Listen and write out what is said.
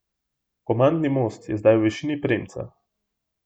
Komandni most je zdaj v višini premca.